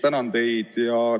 Tänan teid!